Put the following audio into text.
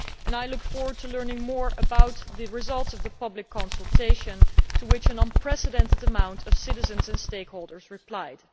I look forward to learning more about the results of the public consultation, to which an unprecedented number of citizens and stakeholders replied.